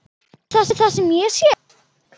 Sérðu það sem ég sé?